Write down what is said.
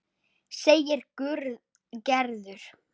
segir Gerður.